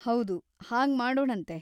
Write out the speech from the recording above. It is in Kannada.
ಹೌದು, ಹಾಗ್ ಮಾಡೋಣಂತೆ.